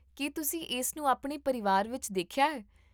ਕੀ ਤੁਸੀਂ ਇਸ ਨੂੰ ਆਪਣੇ ਪਰਿਵਾਰ ਵਿੱਚ ਦੇਖਿਆ ਹੈ?